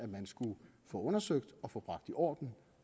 man skulle få undersøgt og få bragt i orden